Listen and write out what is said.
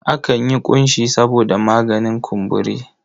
Akan yi ƙunshi saboda maganin kumburi.